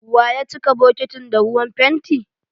Wa ya cika bokitin da ruwan fenti?